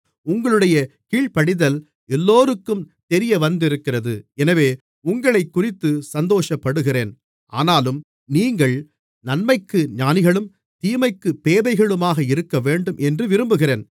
உங்களுடைய கீழ்ப்படிதல் எல்லோருக்கும் தெரியவந்திருக்கிறது எனவே உங்களைக்குறித்து சந்தோஷப்படுகிறேன் ஆனாலும் நீங்கள் நன்மைக்கு ஞானிகளும் தீமைக்குப் பேதைகளுமாக இருக்கவேண்டும் என்று விரும்புகிறேன்